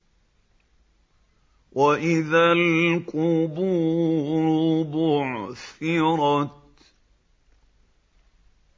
وَإِذَا الْقُبُورُ بُعْثِرَتْ